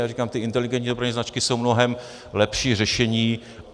Já říkám, ty inteligentní dopravní značky jsou mnohem lepší řešení.